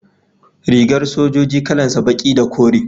rigar sojoji kalan sa baki da kore